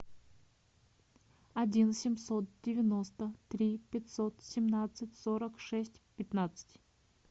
один семьсот девяносто три пятьсот семнадцать сорок шесть пятнадцать